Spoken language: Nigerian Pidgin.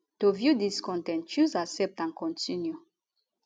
to view dis con ten t choose accept and continue